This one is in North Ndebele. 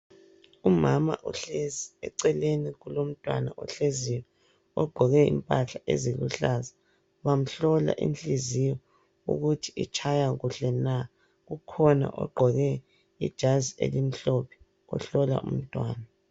Umama uhlezi eceleni kulomntwana ohleziyo ogqoke impahla eziluhlaza bamhlola inhliziyo ukuthi itshaya kuhle na. Kukhona ogqoke ijazi elimhlophe ohlola umntwana.